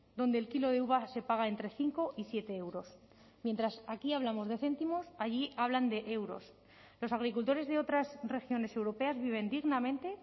donde el kilo de uva se paga entre cinco y siete euros mientras aquí hablamos de céntimos allí hablan de euros los agricultores de otras regiones europeas viven dignamente